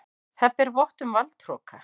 Það ber vott um valdhroka.